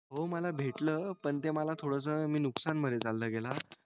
हो मला भेटल पण ते मला थोडस नुकसान मध्ये चाला गेला